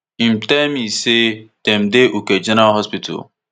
im tell me say dem dey uke general hospital